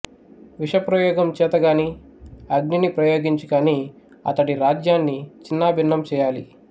విషప్రయోగం చేత కాని అగ్నిని ప్రయోగించి కాని అతడి రాజ్యాన్ని చిన్నాభిన్నం చేయాలి